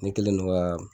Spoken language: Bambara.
Ne kɛlen don ka